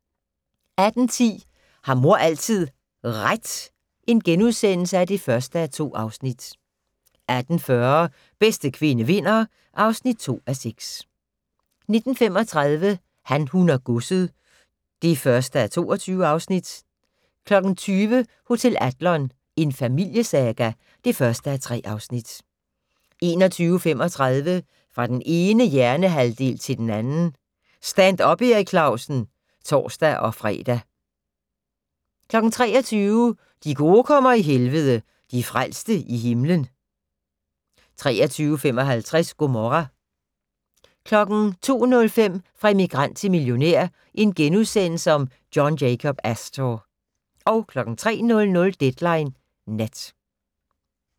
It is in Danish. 18:10: Har mor altid RET? (1:2)* 18:40: Bedste kvinde vinder (2:6) 19:35: Han, hun og godset (1:22) 20:00: Hotel Adlon - en familiesaga (1:3) 21:35: Fra den ene hjernehalvdel til den anden - Stand up Erik Clausen (tor-fre) 23:00: De gode kommer i Helvede - de frelste i himlen! 23:55: Gomorra 02:05: Fra immigrant til millionær: John Jacob Astor * 03:00: Deadline Nat